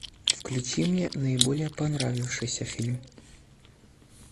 включи мне наиболее понравившийся фильм